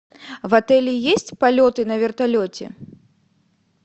в отеле есть полеты на вертолете